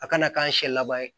A kana k'an siɲɛ laban ye